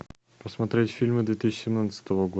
посмотреть фильмы две тысячи семнадцатого года